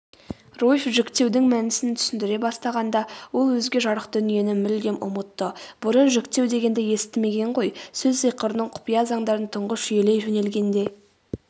руфь жіктеудің мәнісін түсіндіре бастағанда ол өзге жарық дүниені мүлдем ұмытты бұрын жіктеу дегенді естімеген ғой сөз сиқырының құпия заңдарын тұңғыш жүйелей жөнелгенде